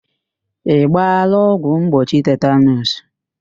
Ị gbaala ọgwụ mgbochi tetanuus?